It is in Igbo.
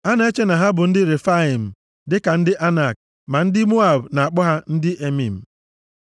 A na-eche na ha bụ ndị Refaim, dịka ndị Anak, ma ndị Moab na-akpọ ha ndị Emim.